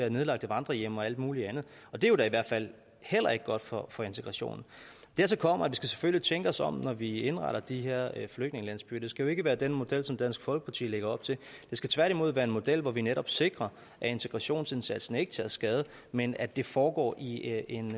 i nedlagte vandrerhjem og alt muligt andet og det er jo da i hvert fald heller ikke godt for for integrationen dertil kommer at vi selvfølgelig skal tænke os om når vi indretter de her flygtningelandsbyer det skal jo ikke være den model som dansk folkeparti lægger op til det skal tværtimod være en model hvor vi netop sikrer at integrationsindsatsen ikke tager skade men at det foregår i